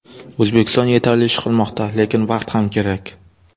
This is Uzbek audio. O‘zbekiston yetarli ish qilmoqda, lekin vaqt ham kerak.